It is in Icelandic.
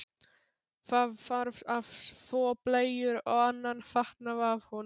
Það þarf að þvo bleyjur og annan fatnað af honum.